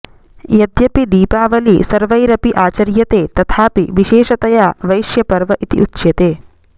यद्यपि दीपावली सर्वैरपि आचर्यते तथापि विशेषतया वैश्यपर्व इति उच्यते